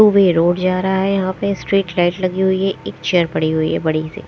भी ये रोड जा रहा है यहां पे स्ट्रीट लाइट लगी हुई है एक चेयर पड़ी हुई है बड़ी सी।